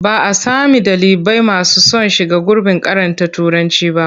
Ba a sami ɗalibai masu son shiga gurbin karanta Turanci ba.